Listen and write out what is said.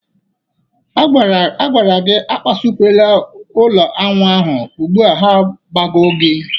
A gwara gị akpasokwala ụlọ añwụ ahụ, ugbụa ha agbago gị!